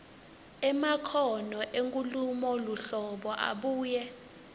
emakhono enkhulumoluhlolo abuye